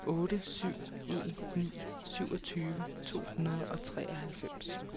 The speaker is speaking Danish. otte syv en ni syvogtyve to hundrede og treoghalvfems